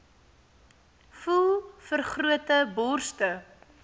voel vergrote borste